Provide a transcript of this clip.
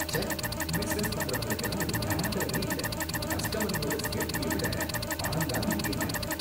ச்ச! பிசினஸ் பண்றவங்களுக்கெல்லாம் ஒரு தராதரமே இல்ல. கஸ்டமருங்களோட சேஃப்ட்டிய விட பணம் தான் முக்கியமா இருக்கு.